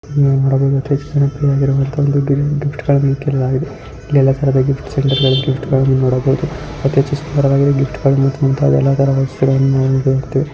ಈ ಚಿತ್ರ ದಲ್ಲಿ ಅತಿ ಹೆಚ್ಚು ಜನಪ್ರಿಯ ವಾದ ಗಿಫ್ಟ್ಗಳನ್ನು ಇಟ್ಟಿದಾರೆ ಇಲ್ಲಿ ಎಲ್ಲಾ ತರಹ ಗಿಫ್ಟ್ಸ್ಗಳನ್ನು ನೋಡಬಹುದು ಅತಿ ಹೆಚ್ಚು ಜನಪ್ರಿಯ ಆದಂತ ಗಿಫ್ಟ್ಗಳನ್ನು ನೋಡಬಹುದು ಹಲವಾರು ಜನ ದಿನ ನಿತ್ಯ ಬಂದು ಗಿಫ್ಟ್ಗಳನ್ನು ನೋಡುತಾರೆ.